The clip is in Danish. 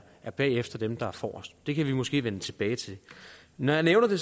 er bagefter dem der er forrest det kan vi måske vende tilbage til når jeg nævner det